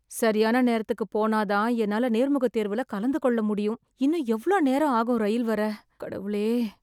சரியான நேரத்துக்குப் போனா தான் என்னால நேர்முகத் தேர்வுல கலந்து கொள்ள முடியும். இன்னும் எவ்ளோ நேரம் ஆகும், ரயில் வர? கடவுளே!